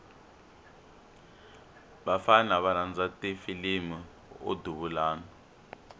vafana va rhandza ti filimu o duvulana